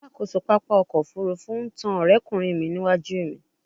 Alakoso papa ọkọ ofurufu n tan ọrẹkunrin mi niwaju mi